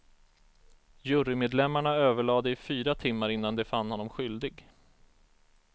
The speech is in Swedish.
Jurymedlemmarna överlade i fyra timmar innan de fann honom skyldig.